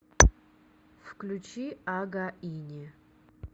включи ага ини